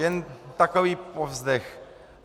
Jen takový povzdech.